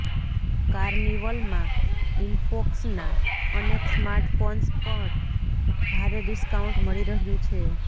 કાર્નિવલમાં ઇનફોકસના અનેક સ્માર્ટફોન્સ પર ભારે ડિસ્કાઉન્ટ મળી રહ્યું છે